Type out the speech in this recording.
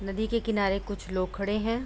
नदी के किनारे कुछ लोग खड़े हैं।